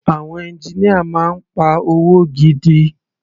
Àwọn engineer máa ń pa owó gidi.